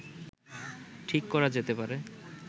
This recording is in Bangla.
ঠিক করা যেতে পারে